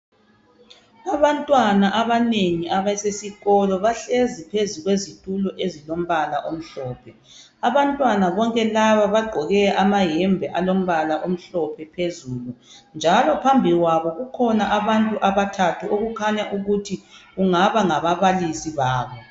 kubantwana abanengi abasesikolo bahlezi phezu kwezitulo ezilombala omhlophe abantwana bonke laba bagqoke amayembe alombala omhlophe phezulu njalo phambi kwabo kkhona abantu abathathu okukhnya ukuthi kungaba ngababalisi babo